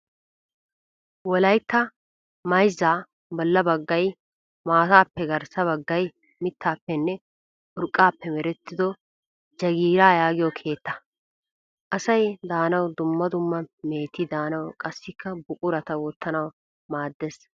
Wolaytta mayzza bolla baggay maatappe garssa baggay mittappenne urqqappe merettido jagiira yaagiyoo keettaa. Asay daanaw dumma dumma meheti daanawu qassikka buqurata wottanawu maaddes.